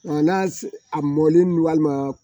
N'a a mɔlen walima